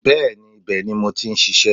Bẹ́ẹ̀ni, ibẹ̀ ni mo ti n ṣiṣẹ́